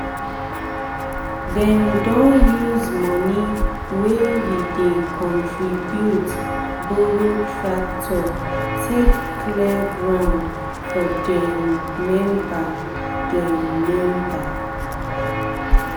dem don use money wey we dey contribute borrow tractor take clear ground for dem member. dem member.